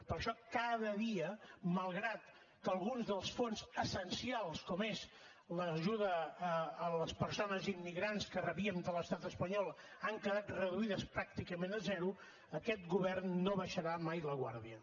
per això cada dia malgrat que alguns dels fons essencials com és l’ajuda a les persones immigrants que rebíem de l’estat espanyol han quedat reduïdes pràcticament a zero aquest govern no abaixarà mai la guàrdia